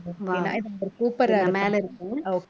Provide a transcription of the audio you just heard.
கூப்பிடறேன் மேல இருங்க